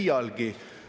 Aeg, hea kolleeg!